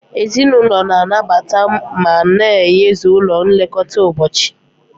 Ezinụlọ na-anabata ma na-eyuzu ụlọ nlekọta ụbọchị.